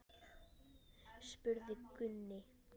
spurði Gunni.